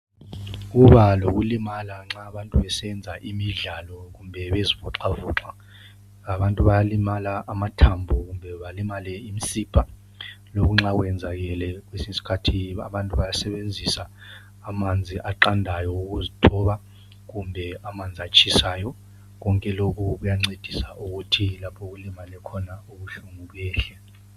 Kuba lokulimala nxa abantu besenza imidlalo kumbe bezivoxavoxa abantu bayalimala amathambo kumbe balimale imsipha lokuthi nxa kwenzakele kwesinye isikhathi abantu bayasebenzisa amanzi aqandayo ukizothoba kumbe amanzi atshisayo konke lokhu kuyancedisa ukuthi lapho okulimale khona ubuhlungu behle.